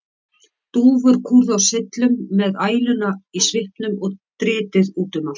Dúfur kúrðu á syllum með æluna í svipnum og dritið út um allt.